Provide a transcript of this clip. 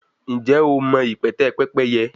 njé o ma ipẹtẹ Pẹ́pẹ́yẹ?